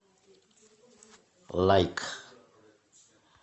лайк